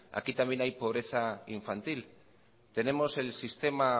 aquí también hay pobreza infantil tenemos el sistema